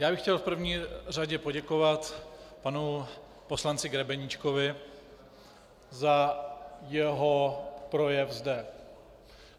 Já bych chtěl v první řadě poděkovat panu poslanci Grebeníčkovi za jeho projev zde.